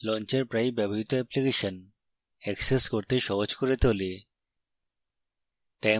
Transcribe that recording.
launcher প্রায়ই ব্যবহৃত application access করতে সহজ করে তোলে